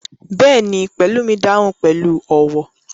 Bẹ́ẹ̀ni, Pelumi dahun pẹlu ọwọ